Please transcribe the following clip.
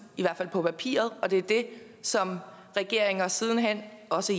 i hvert fald på papiret og det er det som regeringer siden hen også